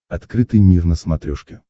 открытый мир на смотрешке